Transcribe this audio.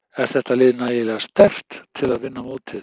Er þetta lið nægilega sterkt til að vinna mótið?